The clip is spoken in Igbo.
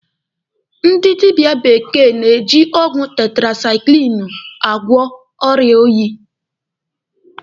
Ndị dịbịa bekee na-eji ọgwụ tetirasaikilinu agwọ ọrịa oyi.